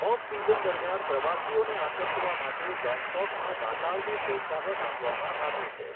Of season દરમિયાન પ્રવાસીઓને આકર્ષવા માટે ગેંગટોકમાં નાતાલને પ્રોત્સાહન આપવામાં આવ્યું છે.